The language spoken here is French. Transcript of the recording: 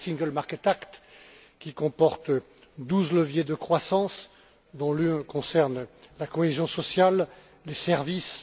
C'est le Single Market Act qui comporte douze leviers de croissance, dont l'un concerne la cohésion sociale, les services.